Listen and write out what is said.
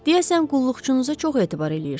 Deyəsən qulluqçunuza çox etibar eləyirsiz.